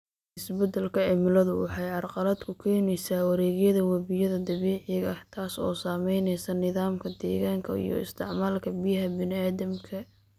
Isbeddelka cimiladu waxay carqalad ku keenaysaa wareegyada webiyada dabiiciga ah, taas oo saamaynaysa nidaamka deegaanka iyo isticmaalka biyaha bini'aadamka.